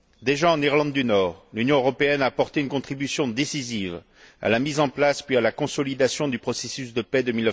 Déjà en Irlande du Nord, l'Union européenne a apporté une contribution décisive à la mise en place puis à la consolidation du processus de paix de